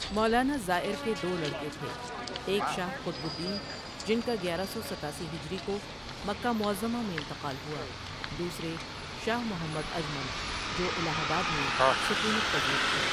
مولانا زائر کے دو لڑکے تھے، ایک شاہ قطب الدین جن کا گیارہ سو ستاسی ہجری کو مکمہ معظمہ میں انتقال ہوا، دوسرے شاہ محمد اجمل جو الہ آباد میں سکونت پذیر تھے۔